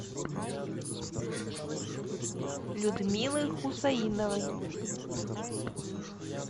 людмилы хусаиновой